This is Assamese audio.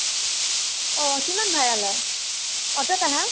অ । কিমান ভাড়া লয় ? অতোত আহা ?